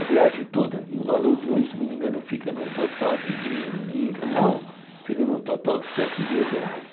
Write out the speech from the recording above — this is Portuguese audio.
A viagem toda, em valor de hoje, se não me engano, fica num total de, em real, fica num total de sete mil reais.